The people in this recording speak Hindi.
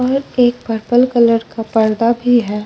एक पर्पल कलर का पर्दा भी हैं ।